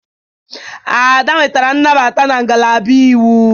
Ada nwetara nnabata na ngalaba Iwu.